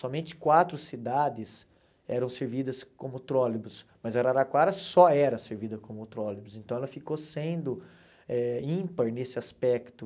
Somente quatro cidades eram servidas como trólebus, mas Araraquara só era servida como trólebus, então ela ficou sendo eh ímpar nesse aspecto.